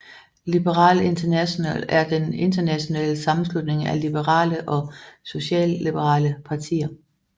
Liberal International er den internationale sammenslutning af liberale og socialliberale partier